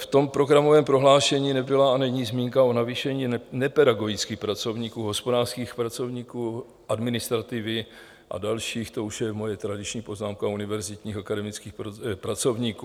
V tom programovém prohlášení nebyla a není zmínka o navýšení nepedagogických pracovníků, hospodářských pracovníků, administrativy a dalších - to už je moje tradiční poznámka - univerzitních akademických pracovníků.